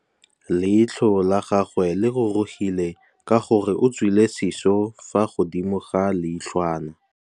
Leitlhô la gagwe le rurugile ka gore o tswile sisô fa godimo ga leitlhwana.